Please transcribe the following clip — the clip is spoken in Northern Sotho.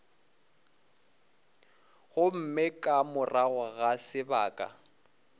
gomme ka morago ga sebaka